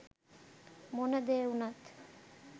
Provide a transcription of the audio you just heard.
මොන දේ උනත්